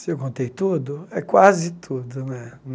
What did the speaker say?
Se eu contei tudo, é quase tudo, né?